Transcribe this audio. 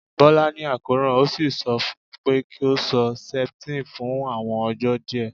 Bola ni akoran, o si sọ fun u pe ki o lo septine fun awọn ọjọ diẹ